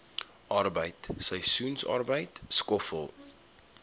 arbeid seisoensarbeid skoffel